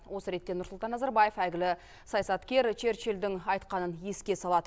осы ретте нұрсұлтан назарбаев әйгілі саясаткер черчилльдің айтқанын еске салады